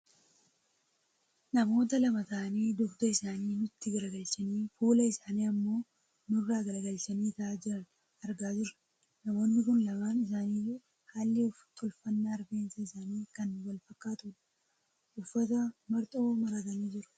namoota lama ta'anii dugda isaanii nutti garagalchanii fuula isaanii ammoo nurraa garagalchanii taa'aa jiran argaa jirra. namoonni kun lamaan isaaniiyyuu haalli tolfannaa rifeensa isaanii kan wal fakkaatudha. uffata marxoo maratanii jiru.